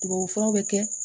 Tubabufuraw bɛ kɛ